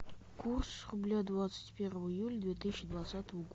курс рубля двадцать первого июля две тысячи двадцатого года